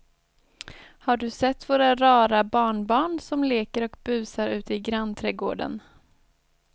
Har du sett våra rara barnbarn som leker och busar ute i grannträdgården!